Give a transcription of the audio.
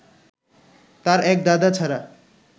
তাঁর এক দাদা ছাড়া